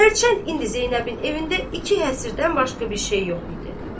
Tərçənd indi Zeynəbin evindən iki həsirdən başqa bir şey yox idi.